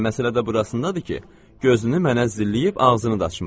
Elə məsələ də burasındadır ki, gözünü mənə zilləyib ağzını da açmır.